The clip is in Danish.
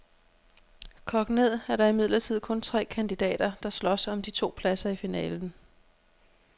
Kogt ned er der imidlertid kun tre kandidater, der slås om de to pladser i finalen.